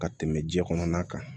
Ka tɛmɛ jiɲɛ kɔnɔna kan